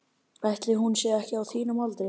Ætli hún sé ekki á þínum aldri.